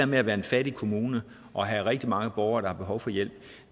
med at være en fattig kommune og have rigtig mange borgere der har behov for hjælp